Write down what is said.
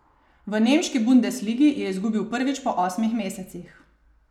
V nemški bundesligi je izgubil prvič po osmih mesecih.